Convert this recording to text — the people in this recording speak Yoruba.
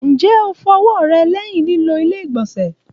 Njẹ o fọ ọwọ rẹ lẹhin lilo ilé-igbọnsẹ?